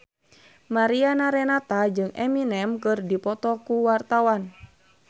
Mariana Renata jeung Eminem keur dipoto ku wartawan